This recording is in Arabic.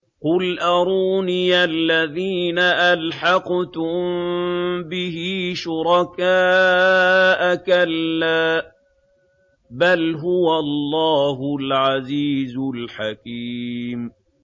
قُلْ أَرُونِيَ الَّذِينَ أَلْحَقْتُم بِهِ شُرَكَاءَ ۖ كَلَّا ۚ بَلْ هُوَ اللَّهُ الْعَزِيزُ الْحَكِيمُ